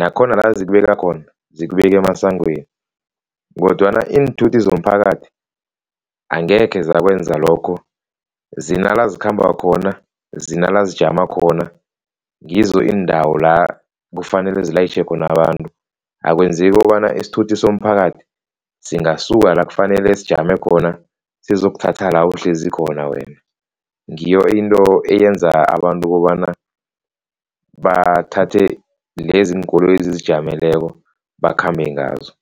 nakhona la zikubeka khona zikubeka emasangweni kodwana iinthuthi zomphakathi angekhe zakwenza lokho zinala zikhamba khona, zinala zijama khona, ngizo iindawo la kufanele zilayitjhe khona abantu. Akwenzeki kobana isithuthi somphakathi singasuka la kufanele sijame khona sizokuthatha la uhlezi khona wena, ngiyo into eyenza abantu ukobana bathathe lezi iinkoloyi ezizijameleko bakhambe ngazo.